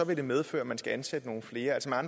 vil det medføre at man skal ansætte nogle flere altså